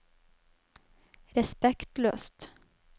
respektløst